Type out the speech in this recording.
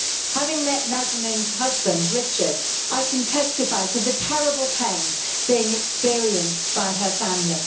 Having met Nazanin's husband, Richard, I can testify to the terrible pain being experienced by her family.